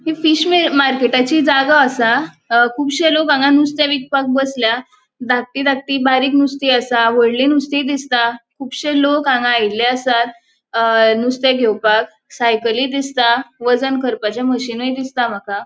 ही fish मे मार्केटाची जागो आसा. अ खुबश्यो लोक हांगा नुस्ते विकपाक बसल्या धाकटी धाकटी बारीक नुस्ती आसा. होडली नुस्ती दिसता खुबश्यो लोक हांगा आयिल्ले आसात. अ नुसते घेवपाक सायकली दिसता. वजन करपाचे मशीनुय दिसता माका.